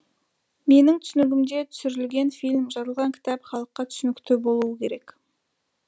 менің түсінігімде түсірілген фильм жазылған кітап халыққа түсінікті болуы керек